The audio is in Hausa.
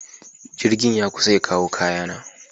Jirgin ya kusa ya kawo kayana.